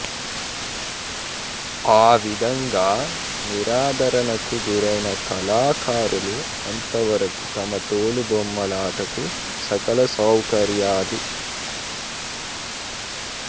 ఆవిధంగా నిరాధరణకు గురైన కళాకారులు అంతవరకు తమ తోలు బొమ్మలాటకు సకల సౌకర్యాలు